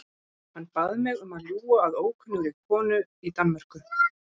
Hann bað mig um að ljúga að ókunnugri konu í Danmörku.